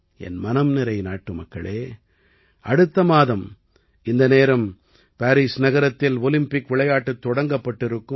என் மனம் நிறை நாட்டுமக்களே அடுத்த மாதம் இந்த நேரம் பாரீஸ் நகரத்தில் ஒலிம்பிக் விளையாட்டுத் தொடங்கப்பட்டிருக்கும்